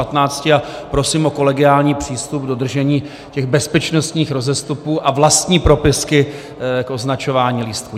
A prosím o kolegiální přístup k dodržení těch bezpečnostních rozestupů a vlastní propisky k označování lístků.